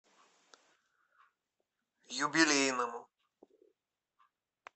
юбилейному